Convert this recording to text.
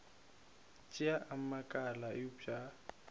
tšeo a makala eupša a